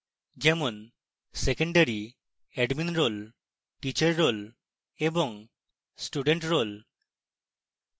যেমন: secondary admin role teacher role এবং student role